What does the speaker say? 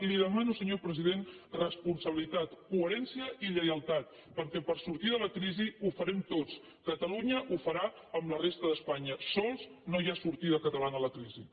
li demano senyor president responsabilitat coherència i lleialtat perquè per sortir de la crisi ho farem tots catalunya ho farà amb la resta d’espanya sols no hi ha sortida catalana a la crisi